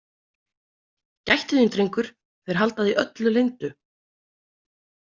Gættu þín, drengur, þeir halda því öllu leyndu.